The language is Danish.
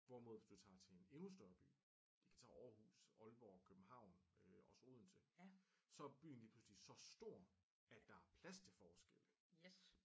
Hvorimod hvis du tager til en endnu større by vi kan tage Aarhus Aalborg København øh også Odense så er byen lige pludseligt så stor at der er plads til forskelle